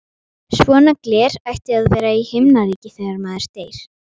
Svona gler ætti að vera í Himnaríki þegar maður deyr.